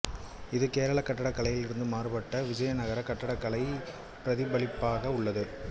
இது கேரள கட்டக்கலையில் இருந்து மாறுபட்டு விஜயதகர கட்டடக்கலையை பிரதிபலிப்பதாக உள்ளது